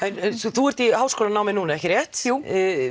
þú ert í háskólanámi núna ekki rétt jú